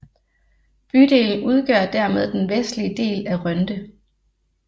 Bydelen udgør dermed den vestlige del af Rønde